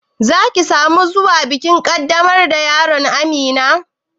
Za ki sa mu zuwa bikin ƙaddamar da yaron Amina?